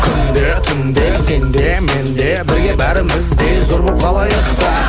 күнде түнде сен де мен де бірге бәріміз де зор болып қалайық та